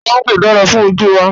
Mángò dára fún ojú wa